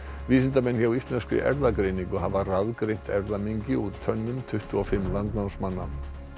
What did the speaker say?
vísindamenn hjá Íslenskri erfðagreiningu hafa erfðamengi úr tönnum tuttugu og fimm landnámsmanna